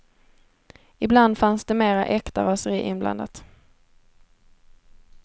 Ibland fanns det mera äkta raseri inblandat.